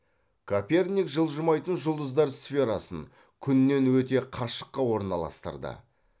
коперник жылжымайтын жұлдыздар сферасын күннен өте қашыққа орналастырды